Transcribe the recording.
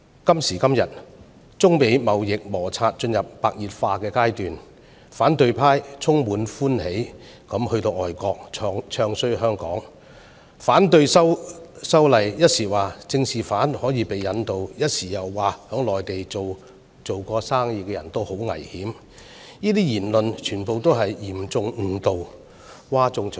今時今日，中美貿易摩擦進入白熱化階段，反對派充滿歡喜地到外國"唱衰"香港、反對修例，一時說政治犯可以被引渡，一時又說曾在內地做生意的人十分危險，這些言論全部是嚴重誤導，譁眾取寵。